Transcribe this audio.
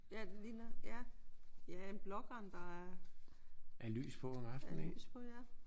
Ja det ligner ja. Ja en blågran der er lys på ja